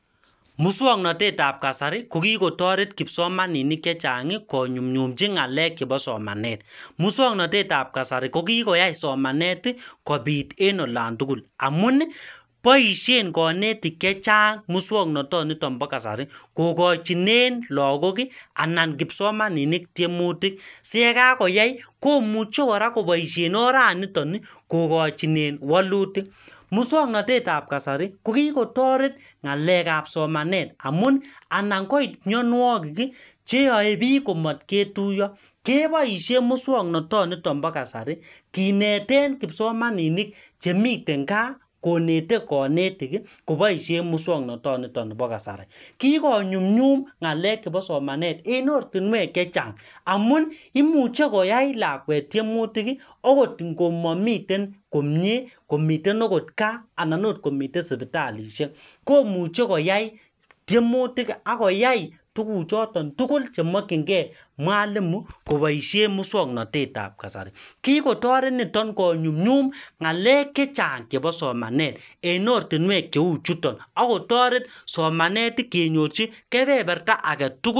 Muswoknatetab kasari ko kikotoret kipsomaninik chechang konyumnyumchi ngalek chebo somanet. Muswoknatetab kasari ko kikoyai somanet kobit en olan tugul amun boisien konetik chechang muswoknoton nito bo kasari kokachinen lagok anan kipsomaninik tiemutik siyekakoyai komuche kora koboisien oraniton kogochinen walutik. Muswoknatetab kasari ko kikotaret ngalekab somanet amun anankoit mianwogik cheyoe biik komat ketuiyo keboisien muswoknotonito bo kasari Kinete kipsomaninik che miten kaa konete konetik koboisien muswoknotonito bo kasari. Kikonyumnyum ngalek chebo somanet en ortinuek chechang amun imuche koyai lakwet tiemutik ogot ngomamiten komie komiten ogot kaa anan ogot komiten suputalisiek komuche koyai tiemutik ak koyai tuguchuton tugul chemokyinge mwalimu koboisien muswoknatetab kasari. Kikotaret niton konyumnyum ngalek che chang chebo somanet en ortinuek cheu chuton agotoret somanet kenyorchi kebeberta age tugul.